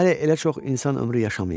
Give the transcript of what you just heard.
Hələ elə çox insan ömrü yaşamayıb.